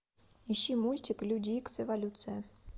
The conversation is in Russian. ищи мультик люди икс эволюция